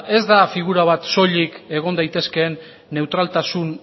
ez da figura bat soilik egon daitezkeen neutraltasun